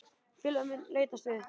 Félagið mun leitast við að